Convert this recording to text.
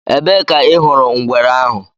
Ebee ka ị hụrụ ngwere ahụ?